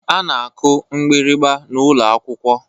A na-akụ mgbịrịgba n'ụlọ akwụkwọ